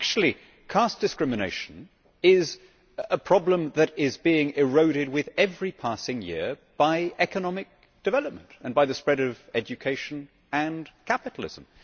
Actually, caste discrimination is a problem that is being eroded with every passing year by economic development and by the spread of education and capitalism.